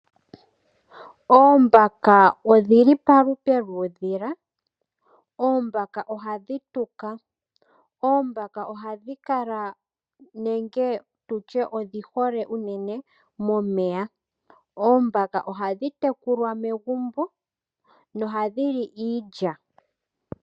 Oombaka odhi li palupe dhuudhila. Oombaka ohadhi tuka. Oombaka odhi hole momeya. Oombaka ohadhi tekulwa megumbo nohadhi li iilya.